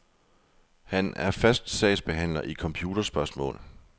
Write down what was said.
Han er fast sagsbehandler i computerspørgsmål.